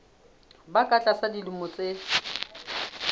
ba ka tlasa dilemo tse